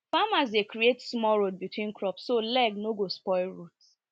farmers dey create small road between crops so leg no go spoil root